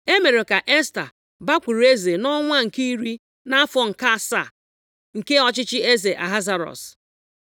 E mere ka Esta bakwuru eze nʼọnwa nke iri nʼafọ nke asaa nke ọchịchị eze Ahasuerọs.